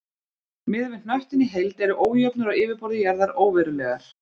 Miðað við hnöttinn í heild eru ójöfnur á yfirborði jarðar óverulegar.